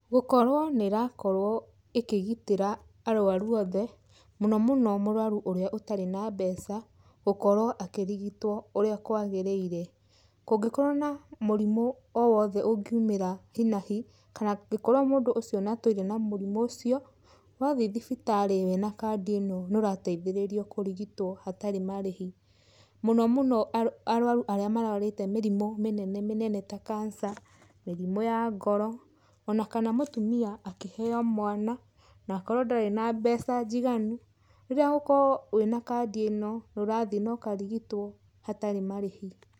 Gũkorwo nĩ ĩrakorwo ĩkĩgitĩra arũaru othe, mũno mũno mũrũaru ũria ũtarĩ na mbeca, gũkorwo akĩrigitwo ũrĩa kwagĩrĩire. Kũngĩkorwo na mũrimũ o wothe ũngĩumĩra hi na hi, kana angĩkorwo mũndũ ũcio nĩ atũire na mũrimũ ũcio, wathi thibitarĩ wĩna kandi ĩno nĩ ũrateithĩrĩrio kũrigitwo hatarĩ marĩhi. Mũno mũno arũaru arĩa marũarĩte mĩrimũ mĩnene mĩnene ta cancer, mĩrimũ ya ngoro, ona kana mũtumia akĩheo mwana, na akorwo ndarĩ na mbeca njiganu, rĩrĩa ũgũkorwo wĩna kandi ĩno, nĩ ũrathiĩ na ũkarigitwo hatarĩ marĩhi.